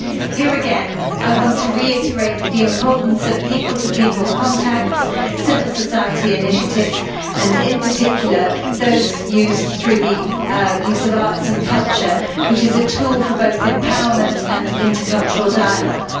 Here again, I want to reiterate the importance of people to people contacts and civil society initiatives, in particular through the use of arts and culture, which are tools for both empowerment and intercultural dialogue.